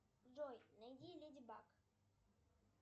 джой найди леди баг